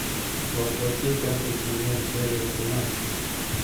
во плоти пятый сезон серия тринадцать